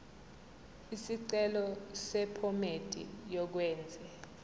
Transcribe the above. isicelo sephomedi yokwenze